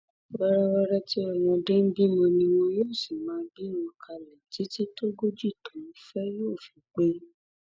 wẹrẹwẹrẹ tí ọmọdé ń bímọ ni wọn yóò sì máa bí wọn kalẹ títí tógo]jí tóun fẹ yóò fi pé